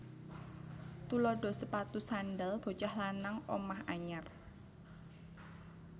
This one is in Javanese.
Tuladha sepatu sandhal bocah lanang omah anyar